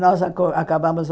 Nós aco acabamos.